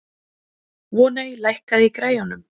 Voney, lækkaðu í græjunum.